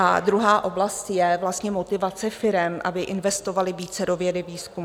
A druhá oblast je vlastně motivace firem, aby investovaly více do vědy, výzkumu.